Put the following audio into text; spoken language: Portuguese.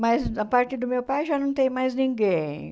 Mas, a parte do meu pai, já não tem mais ninguém.